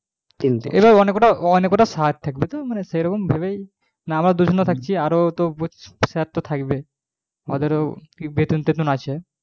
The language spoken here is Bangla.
এবার অনেক গুলো sir থাকবে তো সেই রকম ভেবে ওদের বেটুন তেতুন থাকবে তো